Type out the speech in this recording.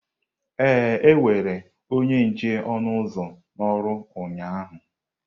Ee, ewere onye nche ọnụ ụzọ n'oru ụnyahụ.